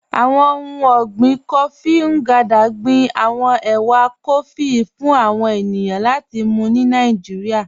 Àwọn ọ̀hun ọ̀gbìn kófí Ngandà gbìn àwọn èwà kófí fún àwọn ènìyàn láti mú ni Nàìjíríà.